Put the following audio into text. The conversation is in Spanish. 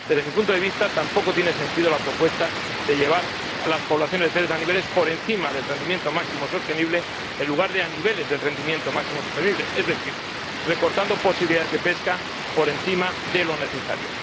Desde mi punto de vista, tampoco tiene sentido la propuesta de llevar las poblaciones de peces a niveles por encima del rendimiento máximo sostenible, en lugar de al nivel del rendimiento máximo sostenible, es decir, recortando posibilidades de pesca por encima de lo necesario.